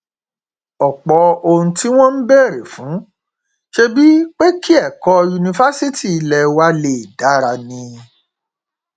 ọpọ ohun tí wọn ń béèrè fún ṣebí pé kí ẹkọ yunifásitì ilé wa lè dára ni